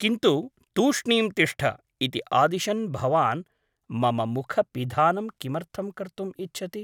किन्तु ' तूष्णीं तिष्ठ ' इति आदिशन् भवान् मम मुख पिधानं किमर्थं कर्तुम् इच्छति ?